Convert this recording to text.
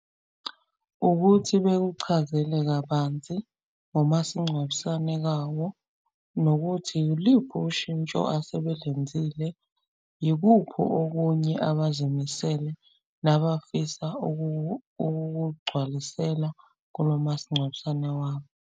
Ukuthi bekuchazele kabanzi ngomasingcwabisane kawo nokuthi iliphu ushintsho asebelenzile. Ikuphi okunye abazimisele nabasafisa ukugcwalisela kulo masingcwabisane wabo.